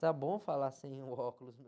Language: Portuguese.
Está bom falar sem o óculos